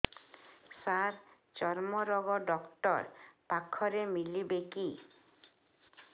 ସାର ଚର୍ମରୋଗ ଡକ୍ଟର ପାଖରେ ମିଳିବେ କି